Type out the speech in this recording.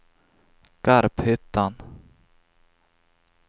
Garphyttan